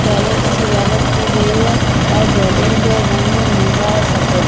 balloon से सजावट की गई है और बैलून का रंग है नीला और सफेद जैसे --